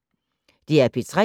DR P3